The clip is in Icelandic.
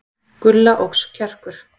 Gulla óx kjarkur.